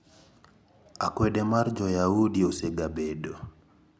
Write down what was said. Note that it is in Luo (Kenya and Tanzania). Akwede mar Joyaudi osegabedo.